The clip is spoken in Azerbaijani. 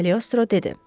Kaliostro dedi.